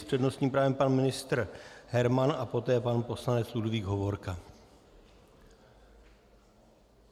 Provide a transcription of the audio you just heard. S přednostním právem pan ministr Herman a poté pan poslanec Ludvík Hovorka.